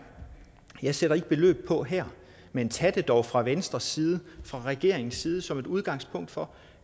jeg sætter ikke beløb på her men tag det dog fra venstres side fra regeringens side som et udgangspunkt for